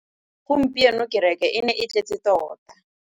Gompieno kêrêkê e ne e tletse tota.